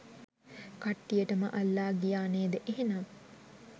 කට්ටියටම අල්ලා ගියා නේද එහෙනම්.